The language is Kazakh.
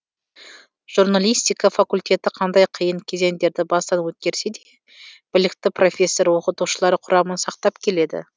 журналистика факультеті қандай қиын кезеңдерді бастан өткерсе де білікті профессор оқытушылар құрамын сақтап келеді